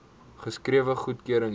geskrewe goedkeuring hê